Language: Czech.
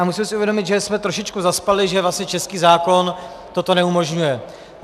A musíme si uvědomit, že jsme trošičku zaspali, že vlastně český zákon toto neumožňuje.